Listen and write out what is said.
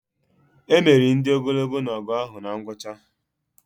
Emeri ndị ogologo na ọgụ ahụ na ngwụcha